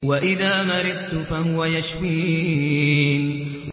وَإِذَا مَرِضْتُ فَهُوَ يَشْفِينِ